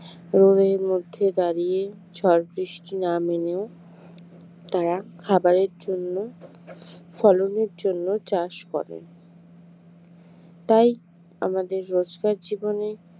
রোদের মধ্যে দাঁড়িয়ে ঝড়-বৃষ্টি না মেনেও তারা খাবারের জন্য ফলনের জন্য চাষ করেন তাই আমাদের রোজগার জীবনে